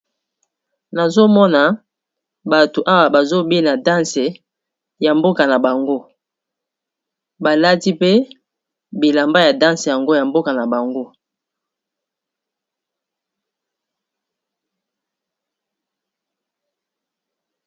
Nazomona bato awa bazobina danse ya mboka na bango balati pe bilamba ya danse yango ya mboka na bango.